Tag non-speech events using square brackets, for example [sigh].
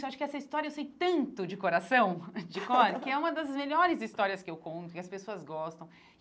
Eu acho que essa história eu sei tanto de coração, [laughs] de cor, que é uma das melhores histórias que eu conto, que as pessoas gostam.